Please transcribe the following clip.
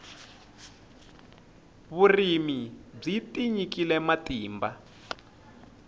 vurimi byi tinyikile matimba